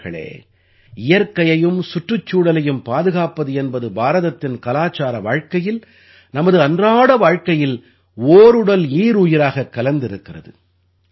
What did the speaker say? நண்பர்களே இயற்கையையும் சுற்றுச்சூழலையும் பாதுகாப்பது என்பது பாரதத்தின் கலாச்சார வாழ்க்கையில் நமது அன்றாட வாழ்க்கையில் ஓருடல் ஈருயிராகக் கலந்திருக்கிறது